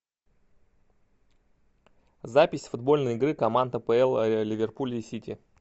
запись футбольной игры команд апл ливерпуля и сити